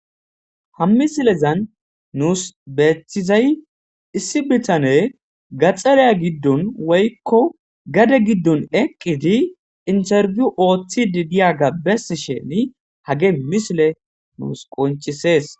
Ha misilezan nuus beethizay issi bitane gaxxareya giddon woykko gade giddon eqqidi interfiyu ooththi di diya gabbes sheni hage misile nuus qoncisees.